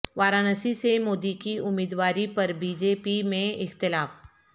وارانسی سے مودی کی امیدواروی پر بی جے پی میں اختلاف